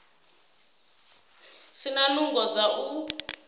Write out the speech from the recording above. si na nungo dza u